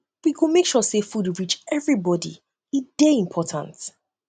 we go make sure sey food reach everybodi e dey dey important